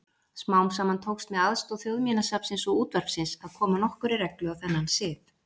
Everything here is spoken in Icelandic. Smám saman tókst með aðstoð Þjóðminjasafnsins og útvarpsins að koma nokkurri reglu á þennan sið.